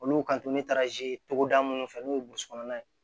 Olu kan to ne taara togoda minnu fɛ n'u ye burusikɔnɔna ye